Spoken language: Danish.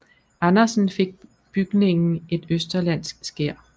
Andersen fik bygningen et østerlandsk skær